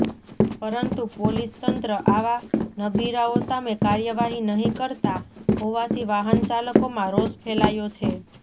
પરંતુ પોલીસતંત્ર આવા નબીરાઓ સામે કાર્યવાહી નહી કરતા હોવાથી વાહનચાલકોમાં રોષ ફેલાયો છે